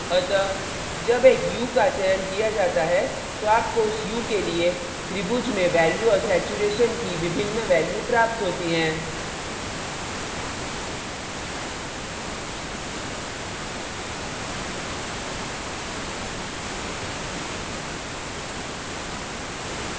अतः जब एक hue का चयन किया जाता है तो आपको उस hue के लिए त्रिभुज में value और saturation की विभिन्न values प्राप्त होती हैं